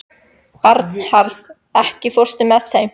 Bernharð, ekki fórstu með þeim?